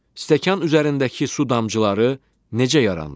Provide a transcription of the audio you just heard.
Stəkan üzərindəki su damcıları necə yarandı?